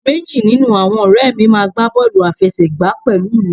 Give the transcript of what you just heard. Meji ninu awọn ọrẹ mi maa gba bọọlu afẹsẹgba pẹlu mi